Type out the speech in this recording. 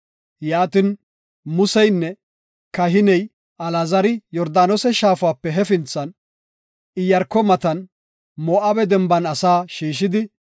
Yaatin, Museynne kahiney Alaazari Yordaanose Shaafape hefinthan, Iyaarko matan, Moo7abe denban asaa shiishidi,